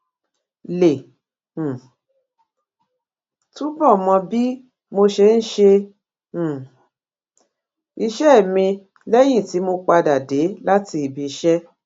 lè um túbò mọ bí mo ṣe ń ṣe um iṣé mi léyìn tí mo padà dé láti ibi iṣé